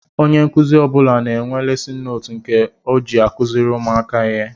Ónyé nkụzi ọbula na-enwe lesin nóótu nke ọ jị akuziri ụmụaka ihe.